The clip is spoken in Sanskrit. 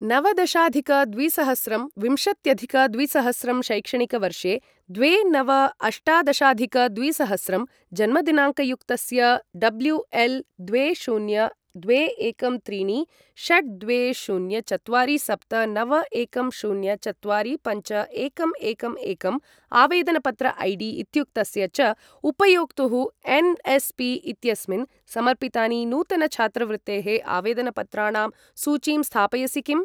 नवदशाधिक द्विसहस्रं विंशत्यधिक द्विसहस्रं शैक्षणिकवर्षे द्वे नव अष्टादशाधिक द्विसहस्रं जन्मदिनाङ्कयुक्तस्य डब्ल्यू एल द्वे शून्य द्वे एकं त्रीणि षट् द्वे शून्य चत्वारि सप्त नव एकं शून्य चत्वारि पञ्च एकं एकं एकं आवेदनपत्र ऐडी इत्युक्तस्य च उपयोक्तुः एन्.एस्.पी.इत्यस्मिन् समर्पितानि नूतन छात्रवृत्तेः आवेदनपत्राणां सूचीं स्थापयसि किम्?